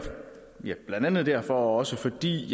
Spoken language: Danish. blandt andet derfor og også fordi